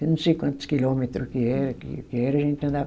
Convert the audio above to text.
Eu não sei quantos quilômetro que é, que era, a gente andava.